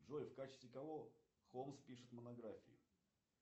джой в качестве кого холмс пишет монографии